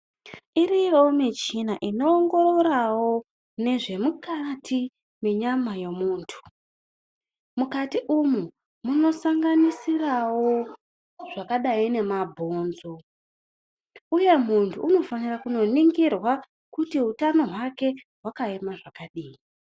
Iriyowo michina inoongororawo nezvemukati menyama yemuntu mukati umu munosanganisirawo zvakadai nemabhonzo uye muntu unofanira kunoningirwa kuti utano hwake hwakaema zvakadii.